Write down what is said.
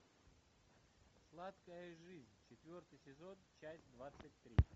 сладкая жизнь четвертый сезон часть двадцать три